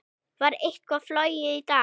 Var eitthvað flogið í dag?